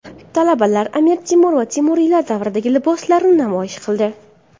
Talabalar Amir Temur va temuriylar davridagi liboslarni namoyish qildi.